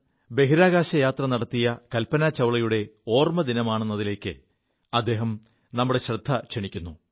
ബഹിരാകാശയാത്ര നടത്തിയ കൽപനാ ചൌളയുടെ ഓർമ്മദിനമാണ് ഫെബ്രുവരി 1 എതിലേക്ക് അദ്ദേഹം ശ്രദ്ധ ക്ഷണിക്കുു